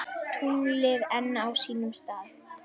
Tunglið enn á sínum stað.